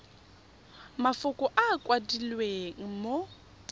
mafoko a a kwadilweng mo